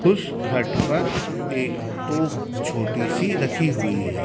उस छत पर एक तोफ़ छोटी सी रखी हुई है।